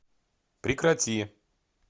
прекрати